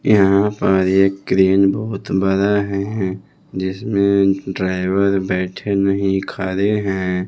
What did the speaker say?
यहां पर एक क्रेन बहुत बड़ा है जिसमें ड्राइवर बैठे नहीं खड़े हैं।